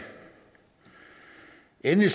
endelig